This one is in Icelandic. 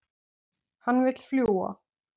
Hann vill fljúga.